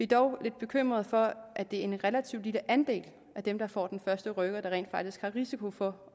dog lidt bekymrede for at det er en relativt lille andel af dem der får den første rykker der rent faktisk har risiko for